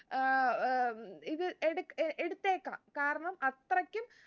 ഏർ ഏർ ഇത് എട് എടുത്തേക്കാം കാരണം അത്രയ്ക്കും